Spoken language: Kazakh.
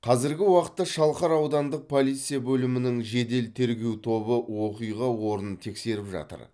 қазіргі уақытта шалқар аудандық полиция бөлімінің жедел тергеу тобы оқиға орнын тексеріп жатыр